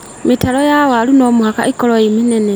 Mĩtaro ya waru no mũhaka ĩkorwo ĩ mĩnene